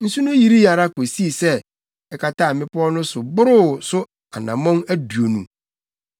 Nsu no yirii ara kosii sɛ ɛkataa mmepɔw no so boroo so anammɔn aduonu.